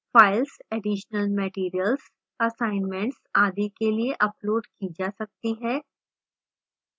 files additional materials assignments आदि के लिए uploaded की जा सकती है